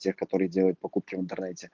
те которые делают покупки в интернете